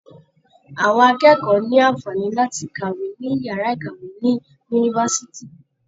Àwọn akẹ́kọ̀ọ́ ní àǹfàaní láti kàwé ní yàrá ìkàwé ní Yunifásitì.